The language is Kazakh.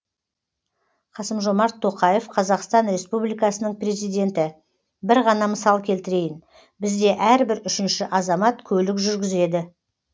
қасым жомарт тоқаев қазақстан республикасының президенті бір ғана мысал келтірейін бізде әрбір үшінші азамат көлік жүргізеді